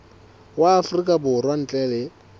wa afrika borwa ntle le